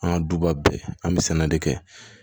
An ka duba bɛɛ an bɛ sɛnɛ de kɛ